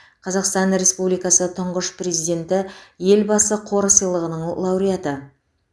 қазақстан республикасы тұңғыш президенті елбасы қоры сыйлығының лауареаты